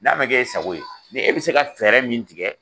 N'a ma kɛ e sago ye, nin e bi se ka fɛɛrɛ min tigɛ